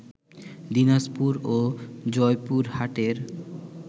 দিনাজপুর ও জয়পুরহাটের